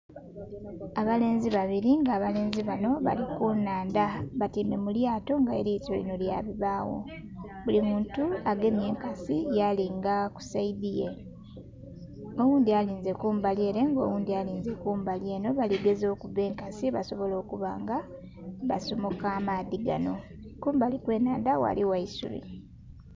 Abalenzi babiri nga abalenzi banho bali ku nhandha, batyaime mu lyato nga elyato linho lya bibagho. Buli muntu agemye enkasi galinha ku saidhi ye, oghundhi alinze kumbali ere nga oghundhi alinze kumbali enho bali gezaku okuba enkasi basobole okubanga basomoka amaadhi ganho, kumbali kwe nhandha ghaligho eisubi.